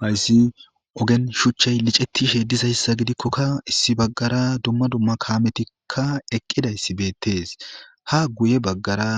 Hayssi ogen shuchchey licetishe dizayssa gidikkokka issi baggara dumma dumma kaametikkka eqqidayss beettes ha guye baggara